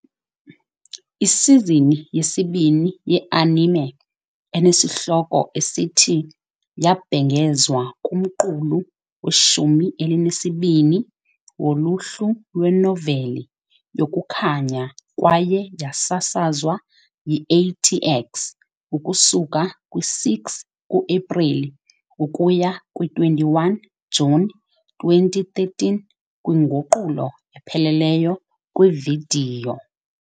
Isizini yesibini yeanime, enesihloko esithi , yabhengezwa kumqulu weshumi elinesibini woluhlu lwenoveli yokukhanya kwaye yasasazwa yi- AT-X ukusuka kwi-6 ku-Epreli ukuya kwi-21 Juni 2013 kwinguqulo epheleleyo kwividiyo.